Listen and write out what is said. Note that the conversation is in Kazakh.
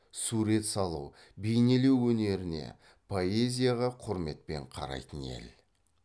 сурет салу бейнелеу өнеріне поэзияға құрметпен қарайтын ел